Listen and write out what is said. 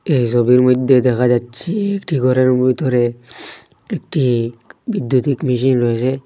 এই ছবির মইধ্যে দেখা যাচ্ছে একটি ঘরের ভিতরে একটি বিদ্যুতিক মেশিন রয়েছে।